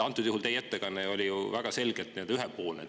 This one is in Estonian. Antud juhul oli teie ettekanne ju väga selgelt ühepoolne.